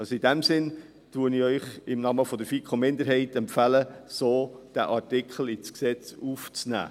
Also, in diesem Sinne, empfehle ich Ihnen im Namen der FiKo-Minderheit, diesen Artikel so ins Gesetz aufzunehmen.